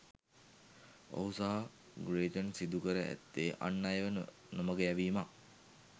ඔහු සහ ග්‍රේචන් සිදු කර ඇත්තේ අන් අයව නොමග යැවීමක්.